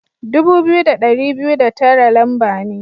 Dubu biyu da dari biyu da tara lamba ne.